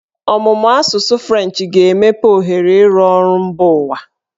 Ọmụmụ asụsụ Frenchị ga-emepe ohere ịrụ ọrụ mba ụwa.